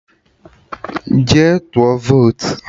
Ke tụọ votu!